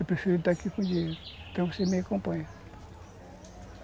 Eu prefiro estar aqui com o dinheiro, então você me acompanhar.